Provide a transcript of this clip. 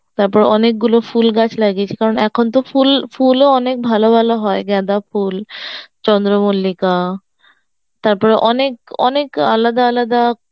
তারপর অনেকগুলো ফুল গাছ লাগিয়েছি কারণ এখন তো ফুল ফুল ও অনেক ভালো ভালো হয় গাঁদা ফুল, চন্দ্রমল্লিকা তারপর অনেক অনেক আলাদা আলাদা